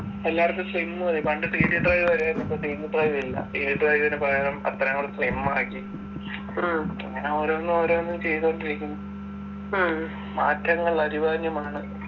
എല്ലാർക്കും slim മതി പണ്ട് CD drive വരുവായിരുന്നു ഇപ്പൊ CD drive ഇല്ല CD drive നു പകരം അത്രേം കൂടെ slim ആക്കി ഇങ്ങന ഓരോന്നോരോന്ന് ചെയ്തോണ്ടിരിക്കുന്ന് മാറ്റങ്ങൾ അനിവാര്യമാണ്‌